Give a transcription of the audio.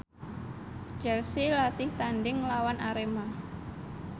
Chelsea latih tandhing nglawan Arema